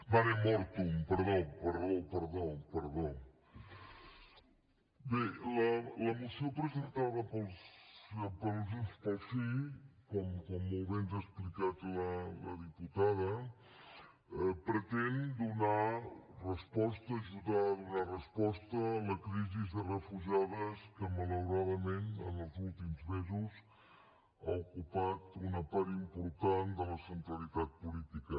bé la moció presentada per junts pel sí com molt bé ens ha explicat la diputada pretén donar resposta ajudar a donar resposta a la crisi de refugiades que malauradament en els últims mesos ha ocupat una part important de la centralitat política